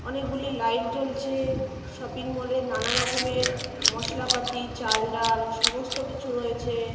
অনেকগুলি লাইট জ্বলছে-এ shopping mall -এ নানারকমের মসলাপাতি চাল ডাল সমস্ত কিছু রয়েছে-এ ।